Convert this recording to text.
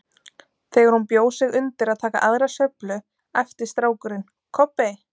Þegar hún bjó sig undir að taka aðra sveiflu æpti strákurinn: Kobbi